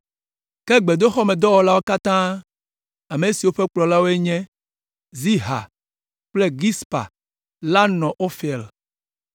Ke gbedoxɔmedɔwɔlawo katã, ame siwo ƒe kplɔlawoe nye Ziha kple Gispa la nɔ Ofel.